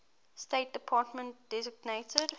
state department designated